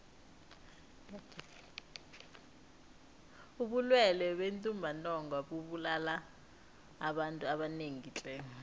ubulwele bentumbantonga bubulala abantu abanengi tle